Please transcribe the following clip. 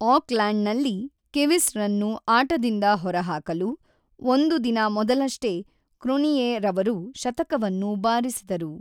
Oak land ನಲ್ಲಿ Kiwis ರನ್ನು ಆಟದಿಂದ ಹೊರಹಾಕಲು ಒಂದು ದಿನ ಮೊದಲಷ್ಟೇ ಕ್ರೋನಿಯೆರವರು ಶತಕವನ್ನು ಬಾರಿಸಿದರು.